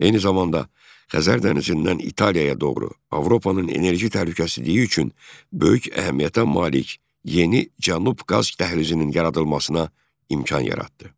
Eyni zamanda Xəzər dənizindən İtaliyaya doğru Avropanın enerji təhlükəsizliyi üçün böyük əhəmiyyətə malik yeni Cənub qaz dəhlizinin yaradılmasına imkan yaratdı.